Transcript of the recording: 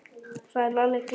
sagði Lalli glaður.